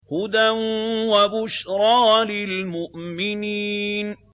هُدًى وَبُشْرَىٰ لِلْمُؤْمِنِينَ